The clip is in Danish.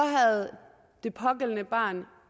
havde det pågældende barn